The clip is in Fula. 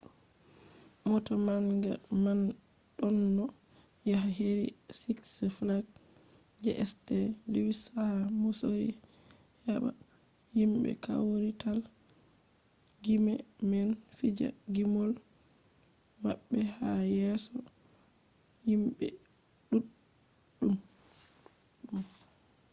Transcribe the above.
mota manga man ɗonno yaha heri siks flags je st. luwis ha misori heɓa himɓe kawrital gime man fija gimol maɓɓe ha yeso himɓe ɗuɗɗum